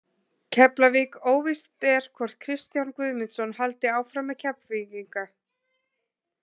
Keflavík: Óvíst er hvort Kristján Guðmundsson haldi áfram með Keflvíkinga.